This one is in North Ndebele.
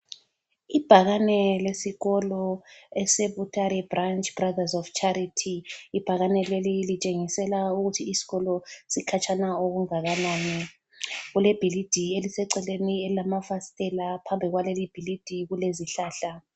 Ibhakane lesikolo eseButare Branch Brothers of Charity. Ibhakane leli litshengisela ukuthi isikolo sikhatshana okungakanani. Kulebhilidi eliseceleni elilamafasitela phambili kwaleli bhilidi kulezihlahla.